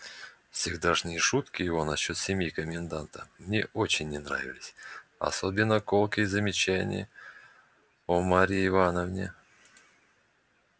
всегдашние шутки его насчёт семьи коменданта мне очень не нравились особенно колкие замечания о марье ивановне